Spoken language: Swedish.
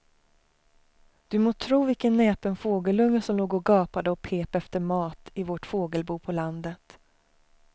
Du må tro vilken näpen fågelunge som låg och gapade och pep efter mat i vårt fågelbo på landet.